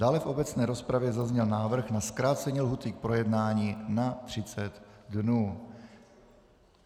Dále v obecné rozpravě zazněl návrh na zkrácení lhůty k projednání na 30 dnů.